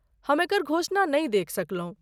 हम एकर घोषणा नहि देखि सकलहुँ।